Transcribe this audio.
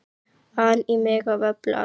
an í mig af öllu afli.